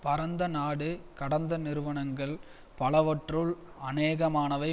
பரந்த நாடுகடந்த நிறுவனங்கள் பலவற்றுள் அநேகமானவை